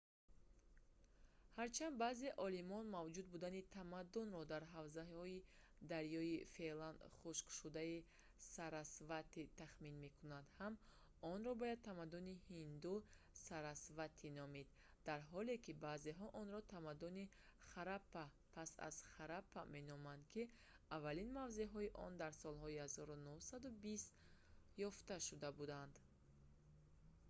ҳарчанд баъзе олимон мавҷуд будани тамаддунро дар ҳавзаҳои дарёи феълан хушкшудаи сарасвати тахмин кунанд ҳам онро бояд тамаддуни ҳинду сарасвати номид дар ҳоле ки баъзеҳо онро тамаддуни хараппа пас аз хараппа меноманд ки аввалин мавзеъҳои он дар солҳои 1920-ум ёфта шуда буданд